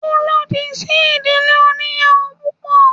Ó lòdì sí ìdílé oníyàwò púpọ̀.